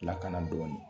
Lakana dɔɔnin